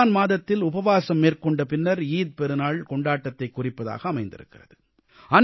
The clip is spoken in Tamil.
ரமலான் மாதத்தில் உபவாஸம் மேற்கொண்ட பின்னர் ஈகை பெருநாள் கொண்டாட்டத்தைக் குறிப்பதாக அமைந்திருக்கிறது